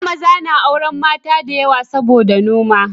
A da maza na auren mata da yawa saboda noma